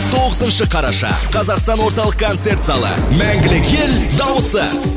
тоғызыншы қараша қазақстан орталық концерт залы мәңгілік ел дауысы